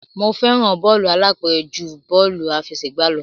Mo fẹ́ràn bọ́ọ̀lù alápẹ̀rẹ̀ ju bọ́ọ̀lù àfẹsẹ̀gbá lọ.